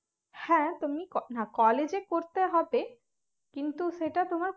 হ্যাঁ তুমি co~college এ করতে হবে কিন্তু সেটা তোমার